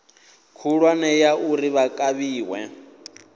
khulwane ya uri vha kavhiwe